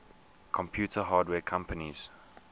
computer hardware companies